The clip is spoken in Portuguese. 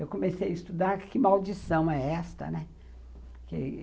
Eu comecei a estudar que maldição é esta, né?